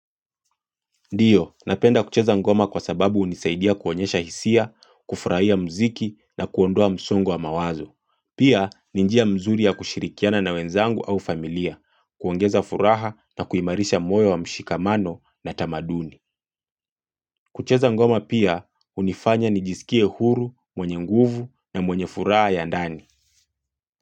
Ndiyo, napenda kucheza ngoma kwa sababu unisaidia kuonyesha hisia, kufurahia mziki na kuondua msongo wa mawazo. Pia, ni njia mzuri ya kushirikiana na wenzangu au familia, kuongeza furaha na kuimarisha moyo wa mshikamano na tamaduni. Kucheza ngoma pia, unifanya nijisikie huru, mwenye nguvu na mwenye furaha ya ndani.